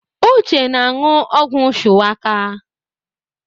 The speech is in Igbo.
Uche na-anu ogwu Shuwaka